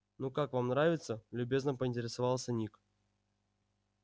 ну как вам нравится любезно поинтересовался ник